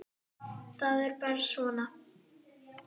Það er bara svona.